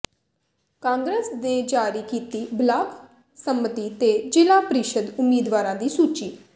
ਕਾਂਗਰਸ ਨੇ ਜਾਰੀ ਕੀਤੀ ਬਲਾਕ ਸੰਮਤੀ ਤੇ ਜ਼ਿਲ੍ਹਾ ਪ੍ਰੀਸ਼ਦ ਉਮੀਦਵਾਰਾਂ ਦੀ ਸੂਚੀ